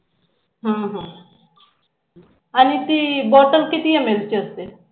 ह ह आणि ती Bottle किती ml ची असते?